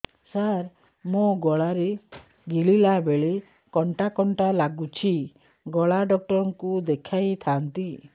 ସାର ମୋ ଗଳା ରେ ଗିଳିଲା ବେଲେ କଣ୍ଟା କଣ୍ଟା ଲାଗୁଛି ଗଳା ଡକ୍ଟର କୁ ଦେଖାଇ ଥାନ୍ତି